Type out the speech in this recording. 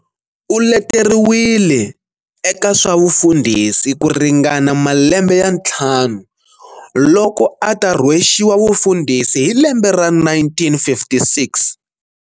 Uleteriwile eka swa vufundhisi ku ringana malembe ya nthlanu loko ata rhwexiwa vufundhisi hi lembe ra 1956.